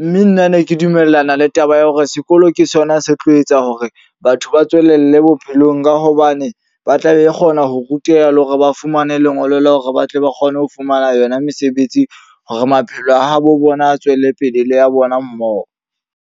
Mme nna ne ke dumellana le taba ya hore sekolo ke sona se tlo etsa hore batho ba tswelelle bophelong. Ka hobane ba tla be kgona ho ruteha le hore ba fumane lengolo la hore ba tle ba kgone ho fumana yona mesebetsi. Hore maphelo a habo bona a tswelle pele le ya bona mmoho.